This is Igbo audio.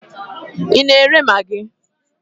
Ị na-ere magị?